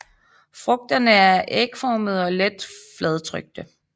Frugterne er ægformede og let fladtrykte